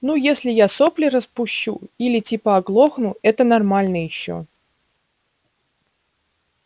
ну если я сопли распущу или типа оглохну это нормально ещё